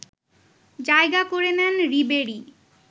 জায়গা করে নেন রিবেরি